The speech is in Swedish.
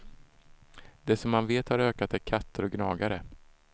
Det som man vet har ökat är katter och gnagare.